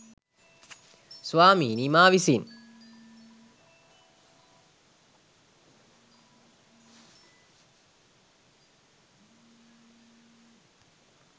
ස්වාමීනී මා විසින්